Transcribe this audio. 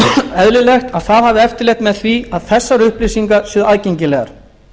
eðlilegt að það hafi eftirlit með því að þessar upplýsingar séu aðgengilegar